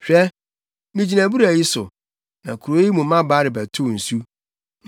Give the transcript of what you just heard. Hwɛ, migyina abura yi so, na kurow yi mu mmabaa rebɛtow nsu.